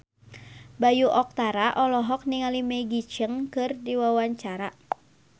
Bayu Octara olohok ningali Maggie Cheung keur diwawancara